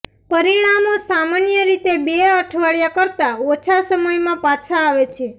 પરિણામો સામાન્ય રીતે બે અઠવાડિયા કરતાં ઓછા સમયમાં પાછા આવે છે